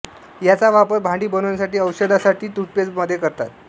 याचा वापर भांडी बनविण्यासाठीऔषधासाठी व टूथपेस्ट मध्ये करतात